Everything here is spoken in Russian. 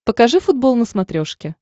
покажи футбол на смотрешке